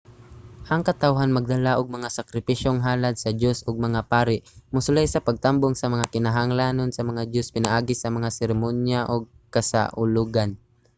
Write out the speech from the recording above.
ang katawhan magdala og mga sakripisyong halad sa dios og ang mga pari mosulay sa pagtambong sa mga kinahanglanon sa mga dios pinaagi sa mga seremonya ug kasaulogan